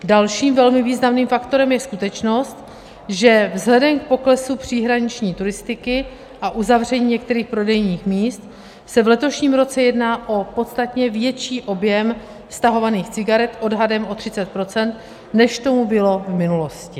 Dalším velmi významným faktorem je skutečnost, že vzhledem k poklesu příhraniční turistiky a uzavření některých prodejních míst se v letošním roce jedná o podstatně větší objem stahovaných cigaret, odhadem o 30 %, než tomu bylo v minulosti.